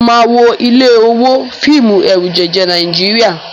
Mo máa wo ilé owó, fíìmù ẹ̀rùjẹ̀jẹ̀ Nàíjíríà.